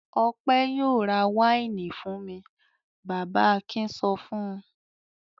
"Ọpẹ́ yóò ra wáìnì fún mi!" Bàbá Akin sọ fún un.